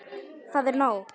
Það er nóg.